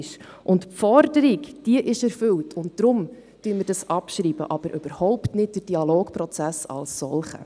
Diese Forderung ist erfüllt, und deshalb schreiben wir ab, jedoch überhaupt nicht den Dialogprozess als solchen.